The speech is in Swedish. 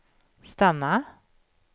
stanna